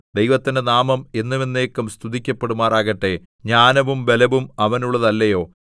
ദൈവത്തിന്റെ നാമം എന്നും എന്നേക്കും സ്തുതിക്കപ്പെടുമാറാകട്ടെ ജ്ഞാനവും ബലവും അവനുള്ളതല്ലയോ